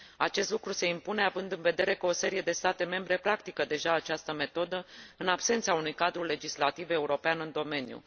Acest lucru se impune, având în vedere că o serie de state membre practică deja această metodă, în absența unui cadru legislativ european în domeniu.